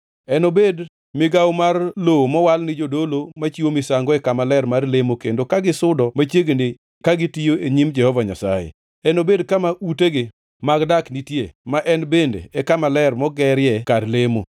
Enobed migawo mar lowo mowal ni jodolo machiwo misango e kama ler mar lemo kendo ka gisudo machiegni ka gitiyo e nyim Jehova Nyasaye. Enobed kama utegi mag dak nitie ma en bende e kama ler mogerie kar lemo.